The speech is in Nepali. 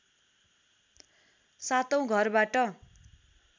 सातौँ घरबाट